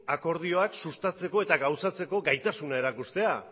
akordioak sustatzeko eta gauzatzeko gaitasuna erakustea